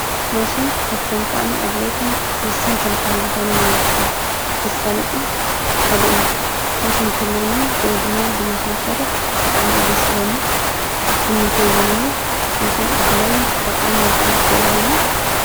ማሽን ካብቶም ጣዕሚ ኣድላይትን ወስን ትንካብ ዝኾኑ ናይ ሥራሕ ምሳለጢ ሓደ እዩ መሽን ክሎኒ ጐይ ዱማ ብመሽንክሠርሕ ጣዕሚ ይደሥለኒ ትምኒተይውን እዩ ማሽን ኣድላይን ጠቓሚምጣዕም ስለ ዝኾነ።